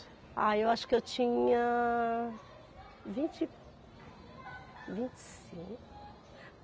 Ah, eu acho que eu tinha... vinte... vinte e cinco?